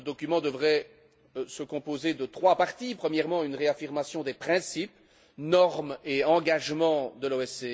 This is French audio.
Ce document devrait se composer de trois parties premièrement, une réaffirmation des principes, normes et engagements de l'OSCE